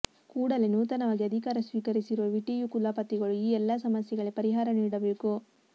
ಕೂಡಲೇ ನೂತನವಾಗಿ ಅಧಿಕಾರ ಸ್ವೀಕರಿಸಿರುವ ವಿಟಿಯು ಕುಲಪತಿಗಳು ಈ ಎಲ್ಲಾ ಸಮಸ್ಯೆಗಳಿಗೆ ಪರಿಹಾರ ನೀಡಬೇಕು